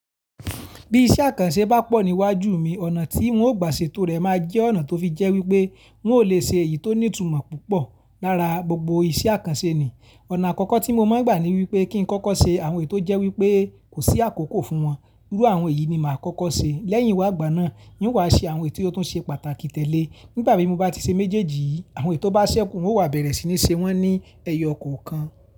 Bí iṣẹ́ àkànṣe bá pọ̀ níwájú mi, ọ̀nà tí ń ó gbà ṣe to rẹ̀ máa jẹ́ ọ̀nà tó fi jẹ́ wípé ń ò le ṣe èyí tó ní ìtumọ̀ púpọ̀ lára gbogbo iṣẹ́ àkànṣe ni. Ọ̀nà àkọ́kọ́ tí mo máa ń gbà ni wípé kí ń kọ́kọ́ ṣe àwọn ètò jẹ́ wípé kò sí àkókò fún wọn. Irú àwọn èyí ni màá kọ́kọ́ ṣe. Lẹ́yìn ìwàgbà náà, ń ó wá ṣe àwọn èyí tó tún ṣe pàtàkì tẹ́le. Nígbà bí mo bá ti ṣe méjèèjì, àwọn itò bá ṣẹ́ku, n o wa bẹ̀rẹ̀ sí ní ṣe wọ́n ní ẹyọkọ̀ọ̀kan.